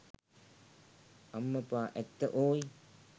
අම්මපා ඇත්ත ඕයි.